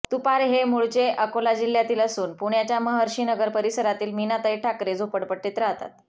तुपारे हे मूळचे अकोला जिल्ह्यातील असून पुण्याच्या महर्षीनगर परिसरातील मीनाताई ठाकरे झोपडपट्टीत राहतात